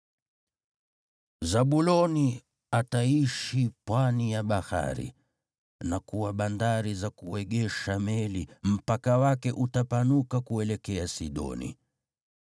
“Zabuloni ataishi pwani ya bahari na kuwa bandari za kuegesha meli; mpaka wake utapanuka kuelekea Sidoni.